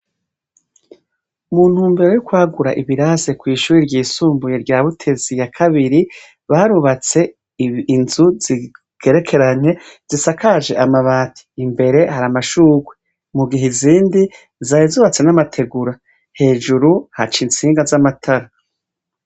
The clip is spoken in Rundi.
Mu ntumbero yo kwagura ibirasi kw'ishure ryisumbuye rya Butezi ya Kabiri, barubatse inzu zigerekeranye zisakaje amabati. Imbere hari amashurwe. Mugihe izindi zari zubatswe n'amategura. Hejuru, haca instinga z'amatara.